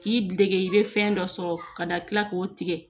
K'i dege i bɛ fɛn dɔ sɔrɔ ka na kila k'o tigɛ